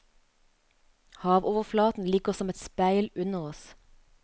Havoverflaten ligger som et speil under oss.